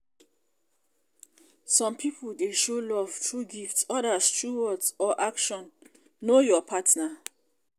some pipo dey show love through gift odas through words or action know your partner.